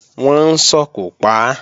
Wọ́n ń sòkò pa á